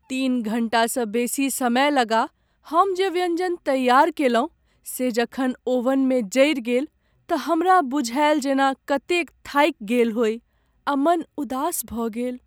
तीन घण्टासँ बेसी समय लगा हम जे व्यञ्जन तैयार कयलहुँ से जखन ओवनमे जरि गेल तँ हमरा बुझायल जेना कतेक थाकि गेल होइ आ मन उदास भऽ गेल।